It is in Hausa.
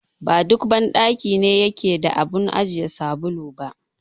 Ba duk banɗaki ne yake da abun ajiye sabulu ba.